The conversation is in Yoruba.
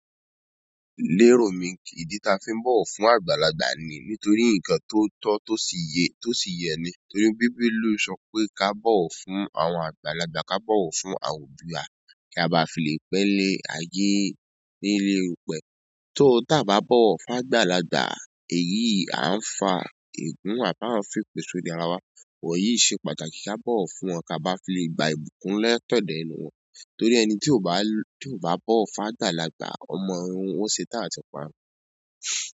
Lérò mi kì ídí táa fi ń bọ̀wọ̀ fún àgbàlagbà ni nítorí ǹkan tó tọ́ tó sì yẹ ní. Ìwé bíbélì sọ pé kí á bọ̀wọ̀ fún àwọn àgbàlagbà, kí á bọ̀wọ̀ fún àwọn òbí wa, kí a bà fi le pẹ́ nílé ayé, nílé èrùpẹ̀. Tó tá bá bọ̀wọ̀ fún àgbàlagbà, èyí à ń fa ègún à bá ń fi èpè sí orí ara wa. Wọ̀nyí ṣe pàtàkì ká bọ̀wọ̀ fún wọn kí a bá fi lè gba ìbùkún lẹ́tọ̀ọ́dọ̀ ẹnu wọn. Torí ẹni tí kò bá bọ̀wọ̀ fún àgbàlagbà, ọmọ ọ̀hún ó setán àti parun.